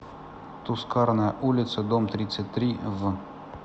тускарная улица дом тридцать три в